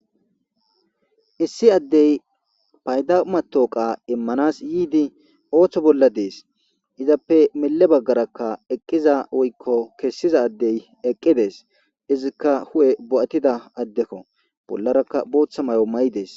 issi addey paydama tooqa immanas yiidi ooththo bolla dees izappe mele baggarakka eqqiza woykko kessiza addey eqqidees izikka hu7e bo7atida addekko bollarakka booththa may7o ma7idees